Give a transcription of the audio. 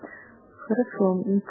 хорошо